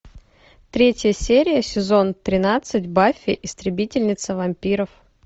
третья серия сезон тринадцать баффи истребительница вампиров